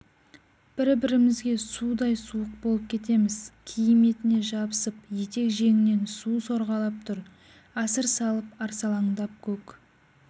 бір-бірімізге судай суық болып кетеміз киім етіне жабысып етек-жеңінен су сорғалап тұр асыр салып арсалаңдап көк